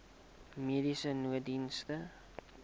mediese nooddienste